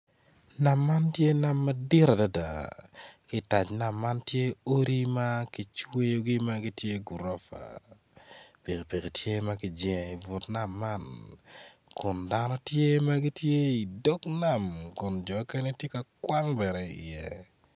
Nam man tye nam madit adada ki teng nam man tye odi ma kicweyogi magitye gurofa piki piki tye ma kijengo ibut nam man kun dano tye ma gitye idog nam kun jo mukene tye ka kwang bene i iye.